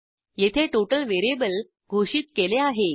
येथे total variable घोषित केले आहे